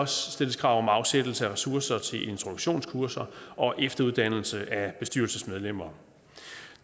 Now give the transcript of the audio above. stilles krav om afsættelse af ressourcer til introduktionskurser og efteruddannelse af bestyrelsesmedlemmer